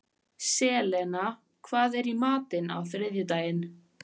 Selena, hvað er í matinn á þriðjudaginn?